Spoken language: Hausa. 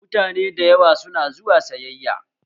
Mutane da yawa su na zuwa sayayya